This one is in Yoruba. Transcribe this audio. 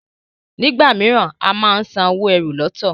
nigbamiran a món sàn owo ẹ́rù lọtọ.